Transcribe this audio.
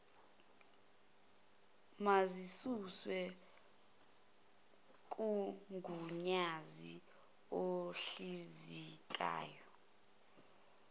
mazisuswe kugunyazo oluhlinzekayo